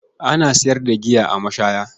Ana sayar da giya a mashaya.